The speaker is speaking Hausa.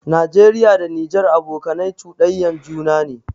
Nageriya da Nijar abokanai chuɗanyan juna ne